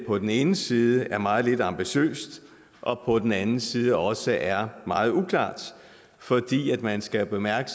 på den ene side er meget lidt ambitiøst og på den anden side også er meget uklart for man skal bemærke